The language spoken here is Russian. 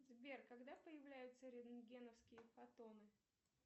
сбер когда появляются рентгеновские фотоны